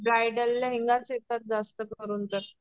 Bridal लेहेंगाच येतात जास्त करून तर.